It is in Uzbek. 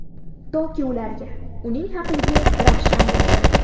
Toki ularga Uning haqligi ravshan bo‘lsin.